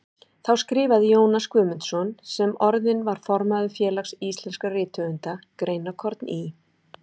Þá skrifaði Jónas Guðmundsson, sem orðinn var formaður Félags íslenskra rithöfunda, greinarkorn í